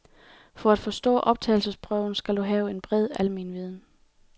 For at bestå optagelsesprøven skal du have en bred almenviden.